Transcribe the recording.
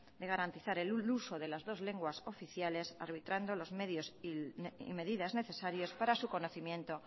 de garantizar el uso de las dos lenguas oficiales arbitrando los medios y medidas necesarios para su conocimiento